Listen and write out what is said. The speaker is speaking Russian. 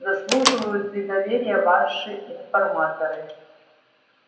заслуживают ли доверия ваши информаторы